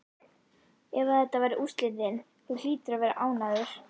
Ef að þetta verða úrslitin, þú hlýtur að vera ánægður?